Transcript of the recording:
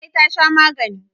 Larai ta sha magani.